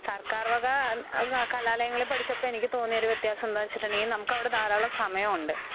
സർക്കാർവകാ അന്ന് കലാലയങ്ങളില് പഠിച്ചപ്പൊ എനിക്ക് തോന്നിയൊരു വ്യത്യാസം എന്താന്ന് വെച്ചിട്ടുങ്കിൽ നമുക്കവിടെ ധാരാളം സമയഉണ്ട്.